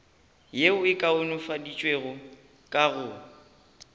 yeo e kaonafaditšwego ka go